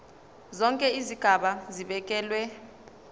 zonke izigaba zibekelwe